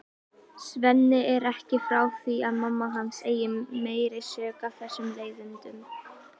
Svenni er ekki frá því að mamma hans eigi meiri sök á þessum leiðindum.